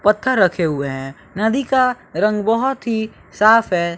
पत्थर रखे हुए हैं नदी का रंग बहोत ही साफ है।